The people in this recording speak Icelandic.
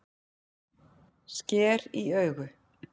Sker í augu